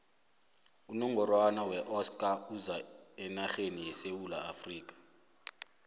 unongorwana weoska uza enarheni yesewula afrika